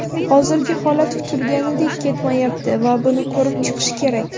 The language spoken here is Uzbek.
Hozirgi holat kutilganidek ketmayapti va buni ko‘rib chiqish kerak.